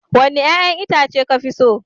Wanni yayan Itace ka fi so?